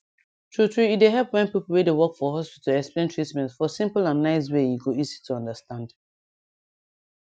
true true e dey help when pipu wey dey work for hospital explain treatment for simple and nice way e go easy to understand